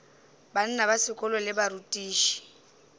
bana ba sekolo le barutiši